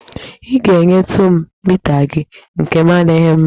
Ị ga-enyetụ m mita gị, nkem adịghị mma